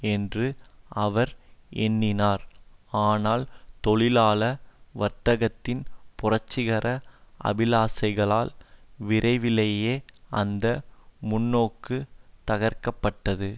என்று அவர் எண்ணினார் ஆனால் தொழிலாள வர்க்கத்தின் புரட்சிகர அபிலாசைகளால் விரைவிலேயே அந்த முன்னோக்கு தகர்க்கப்பட்டது